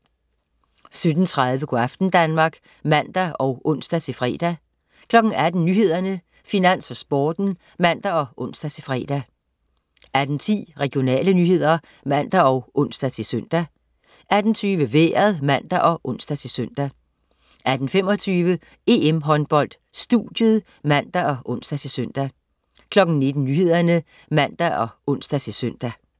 17.30 Go' aften Danmark (man og ons-fre) 18.00 Nyhederne, Finans og Sporten (man og ons-fre) 18.10 Regionale nyheder (man og ons-søn) 18.20 Vejret (man og ons-søn) 18.25 EM-Håndbold: Studiet (man og ons-søn) 19.00 Nyhederne (man og ons-søn)